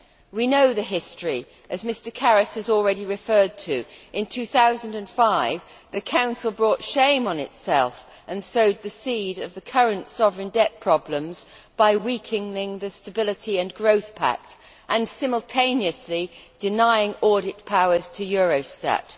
We know the history as Mr Karas has already referred to it. In 2005, the Council brought shame on itself and sowed the seed of the current sovereign debt problems by weakening the Stability and Growth Pact and simultaneously denying audit powers to Eurostat.